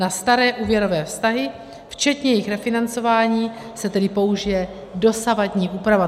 Na staré úvěrové vztahy včetně jejich refinancování se tedy použije dosavadní úprava.